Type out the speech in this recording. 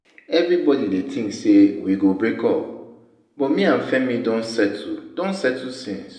Everybody dey think say we go break up but me and Femi don settle don settle since